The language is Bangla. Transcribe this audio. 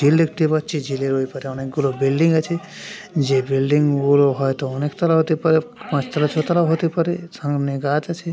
ঝিল দেখতে পাচ্ছি। ঝিলের ওই পারে অনেক গুলো বিল্ডিং আছে। যে বিল্ডিং গুলো হয়তো অনেক তালা হতে পারে। পাঁচ তালা ছয় তালাও হতে পারে। সামনে গাছ আছে।